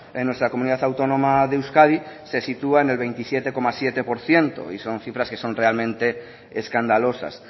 en nuestra comunidad autónoma de euskadi se sitúa en el veintisiete coma siete por ciento y son cifras que son realmente escandalosas